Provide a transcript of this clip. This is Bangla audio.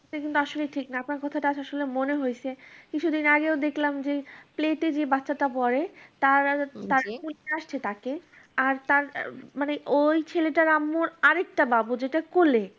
এটা কিন্তু আসলে ঠিক না। আপনার কথাটা মনে হয়েছে। কিছুদিন আগেও দেখলাম যে plato যে বাচ্চাটা পড়ে তার আর তাকে তার মানে ওই ছেলেটার আম্মুর আরেকটা বাবু যেটা কোলে